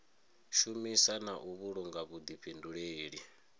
shumisa na u vhulunga vhuḓifhinduleli